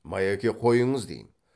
майеке қойыңыз дейім